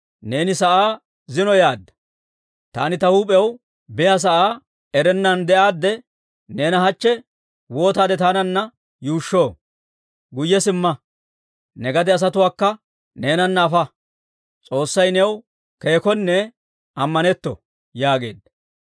Neeni sa'aa zino yaadda; taani ta huup'iyaw biyaasa'aa erennan de'aadde, neena hachche waataade taananna yuushshoo? Guyye simma; ne gade asatuwaakka neenana afa. S'oossay new keekkonne ammanetto!» yaageedda.